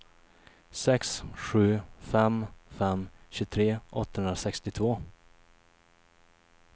sex sju fem fem tjugotre åttahundrasextiotvå